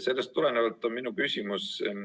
Sellest tulenevalt on mul küsimus.